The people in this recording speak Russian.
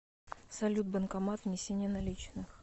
салют банкомат внесение наличных